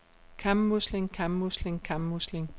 kammusling kammusling kammusling